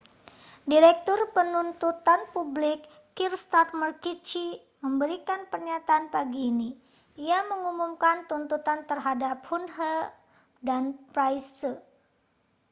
direktur penuntutan publik kier starmer qc memberikan pernyataan pagi ini ia mengumumkan tuntutan terhadap huhne dan pryce